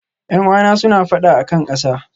Yan'uwan suna fada a kan ƙasa.